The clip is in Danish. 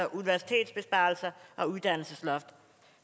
universitetsbesparelser og uddannelsesloft